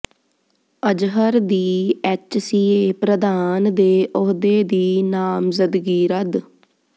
ਅਜ਼ਹਰ ਦੀ ਐੱਚਸੀਏ ਪ੍ਰਧਾਨ ਦੇ ਅਹੁਦੇ ਦੀ ਨਾਮਜ਼ਦਗੀ ਰੱਦ